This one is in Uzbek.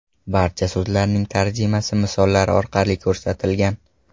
Barcha so‘zlarning tarjimasi misollar orqali ko‘rsatilgan.